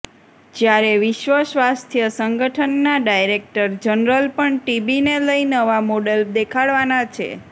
જ્યારે વિશ્વ સ્વાસ્થ્ય સંગઠનના ડાયરેક્ટર જનરલ પણ ટીબીને લઈ નવા મોડલ દેખાડવાના છે